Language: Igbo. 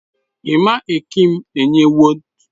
Ẹma ẹkịm enye ẹwot.